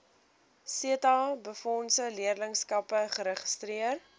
setabefondse leerlingskappe geregistreer